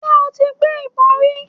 Ṣé o ti gbé ìbọn rí.?